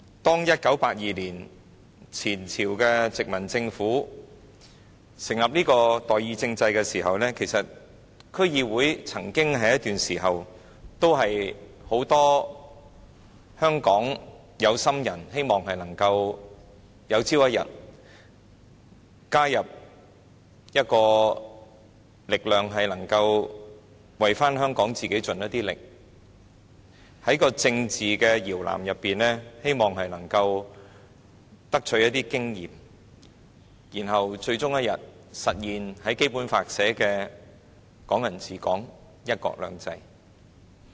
當前朝的殖民政府在1982年成立代議政制的時候，曾經有一段時間，很多香港的有心人都希望透過加入區議會，能夠為香港盡一點力，能夠在政治搖籃中取得一些經驗，然後最終一天實現《基本法》訂明的"港人治港"、"一國兩制"。